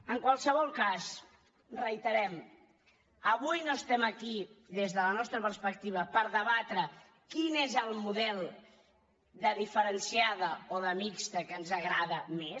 en qualsevol cas ho reiterem avui no estem aquí des de la nostra perspectiva per debatre quin és el model de diferenciada o de mixta que ens agrada més